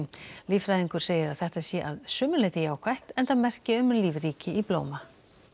líffræðingur segir að þetta sé að sumu leyti jákvætt enda merki um lífríki í blóma